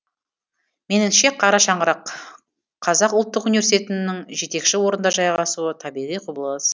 меніңше қара шаңырақ қазақ ұлттық университетінің жетекші орында жайғасуы табиғи құбылыс